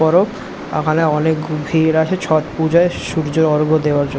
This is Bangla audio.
পরব আমাদের অনেক ভিড় আসে ছট পূজায় সূর্যে অর্ঘ দেওয়ার জন্য।